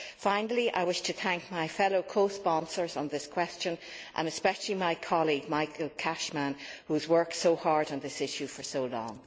Finally, I wish to thank my fellow co sponsors on this question, and especially my colleague Michael Cashman, who has worked so hard on this issue for so long.